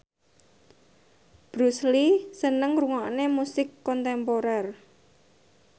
Bruce Lee seneng ngrungokne musik kontemporer